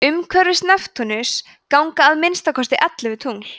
umhverfis neptúnus ganga að minnsta kosti ellefu tungl